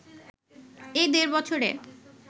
এই দেড় বছরে